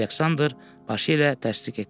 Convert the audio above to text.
Aleksandr başı ilə təsdiq etdi.